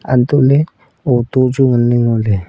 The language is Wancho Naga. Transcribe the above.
untohley auto chu nganley ngoley.